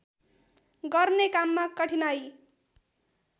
गर्ने काममा कठिनाइ